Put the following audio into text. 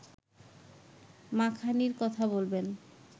মাখানির কথা বলবেন